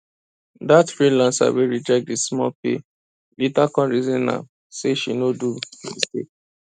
that freelancer wey reject the small pay later come reason am say she no do mistake